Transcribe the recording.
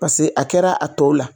Paseke a kɛra a tɔw la